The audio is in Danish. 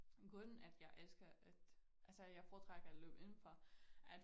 Grunden at jeg elsker at altså at jeg foretrækker at løbe inden for